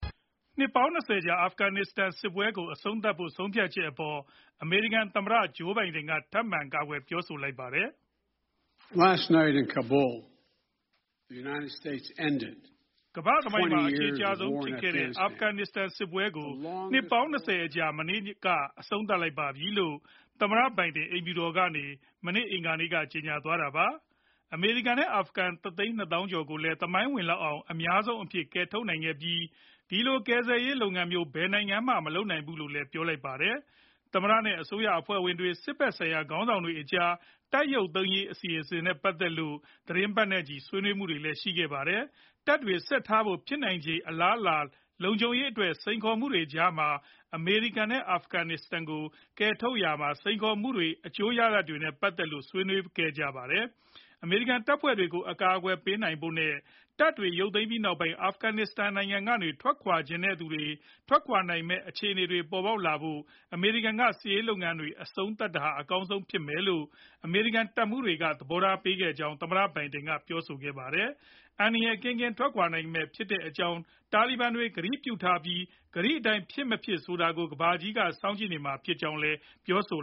နှစ်ပေါင်း ၂၀ ကြာ အာဖဂန်နစ္စတန်စစ်ကို အဆုံးသတ်ဖို့ ဆုံးဖြတ်ချက်အပေါ် အမေရိကန် သမ္မတ ဂျိုးဘိုင်ဒန် က ထပ်မံကာကွယ် ပြောဆိုလိုက်ပါတယ်။ “အမေရိကန်သမိုင်းမှာ အရှည်ကြာဆုံးဖြစ်ခဲ့တဲ့ အာဖဂန်စစ်ပွဲကို နှစ်ပေါင်း ၂၀ အကြာ မနေ့ညက အဆုံးသတ်လိုက်ပါပြီ။” လို့ သမ္မတဘိုင်ဒင် အိမ်ဖြူတော်ကနေ မနေ့ အင်္ဂါနေ့က ကြေညာသွားတာပါ။ အမေရိကန်နဲ့ အာဖဂန် ၁ သိန်း ၂ သောင်းကျော်ကိုလည်း သမိုင်းဝင်လောက်အောင် အများဆုံးအဖြစ် ကယ်ထုတ်နိုင်ခဲ့ပြီး၊ ဒီလိုကယ်ဆယ်ရေး လုပ်ငန်းမျိုး ဘယ်နိုင်ငံမှ မလုပ်နိုင်ဘူးဖူးလို့လည်း ပြောပါတယ်။ သမ္မတနဲ့ အစိုးရအဖွဲ့ဝင်တွေ စစ်ဖက်ဆိုင်ရာ ခေါင်းဆောင်တွေကြား တပ်ရုပ်သိမ်းရေး အစီအစဉ်နဲ့ ပတ်သက်လို့ သီတင်းပတ်နဲ့ချီ ဆွေးနွေးမှုတွေလည်း ရှိခဲ့ပါတယ်။ တပ်တွေ ဆက်ထားဖို့ ဖြစ်နိုင်ခြေ အလားအလာ၊ လုံခြုံရေးအတွက် စိန်ခေါ်မှုတွေကြားမှာ အမေရိကန်နဲ့ အာဖဂန်တွေကို ကယ်ထုတ်ရာမှာ စိန်ခေါ်မှုတွေနဲ့ အကျိုးရလဒ်တွေနဲ့ ပတ်သက်လို့လည်း ဆွေးနွေးခဲ့ကြတာပါ။ အမေရိကန် တပ်ဖွဲ့တွေကို အကာအကွယ်ပေးဖို့နဲ့ တပ်တွေ ရုပ်သိမ်းပြီးနောက်ပိုင်း အာဖဂန်နစ္စတန်ကနေ ထွက်ခွာချင်တဲ့သူတွေ ထွက်ခွာနိုင်မယ့် အခြေအနေတွေ ပေါ်ပေါက်လာဖို့ အမေရိကန်ကစစ်ရေး လုပ်ငန်းတွေ အဆုံးသတ်တာဟာ အကောင်းဆုံးဖြစ်မယ်လို့ အမေရိကန်တပ်မှူးတွေကလည်း သဘောထား ပေးခဲ့ကြကြောင်း သမ္မတ ဘိုင်ဒင်က ပြောဆိုခဲ့ပါတယ်။ အန္တရာယ်ကင်းကင်း ထွက်ခွာနိုင်မှာဖြစ်ကြောင်း တာလီဘန်တွေ ကတိပြုထားပြီး၊ ကတိအတိုင်း ဖြစ်မဖြစ်ဆိုတာကိုလည်း ကမ္ဘာကြီးက စောင့်ကြည့်နေမှာဖြစ်ကြောင်းလည်း ပြောဆို